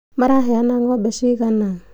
Maraheana ng'ombe cigana?